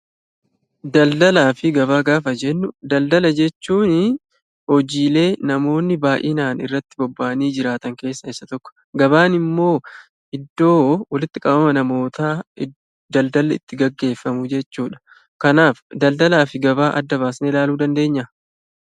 Daldalaa fi Gabaa gaafa jennu daldala jechuun hojiilee namoonni baay'een itti bobba'anii jiran keessaa isa tokko. Gabaan immoo iddoo walitti qabama namootaa daldalli itti gaggeeffamu jechuudha. Kanaaf daldalaa fi gabaa adda baasnee ilaaluu dandeenyaa?